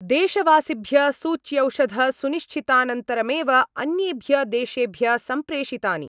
देशवासिभ्य सूच्यौषधसुनिश्चितानन्तरमेव अन्येभ्य देशेभ्य सम्प्रेषितानि।